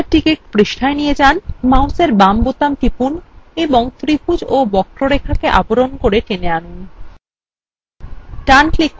তারপর কার্সারকে পৃষ্ঠায় নিয়ে যান মাউসের বাম বোতাম টিপুন এবং ত্রিভুজ এবং বক্ররেখাকে আবরণ করে টেনে আনুন